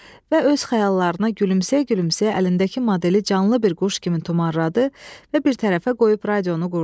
Və öz xəyallarına gülümsəyə-gülümsəyə əlindəki modeli canlı bir quş kimi tumarladı və bir tərəfə qoyub radionu qurdu.